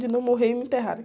De não morrer e me enterrarem.